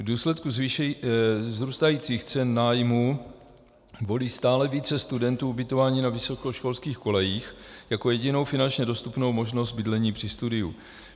V důsledku vzrůstajících cen nájmů volí stále více studentů ubytování na vysokoškolských kolejích jako jedinou finančně dostupnou možnost bydlení při studiu.